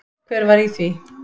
Hver var í því?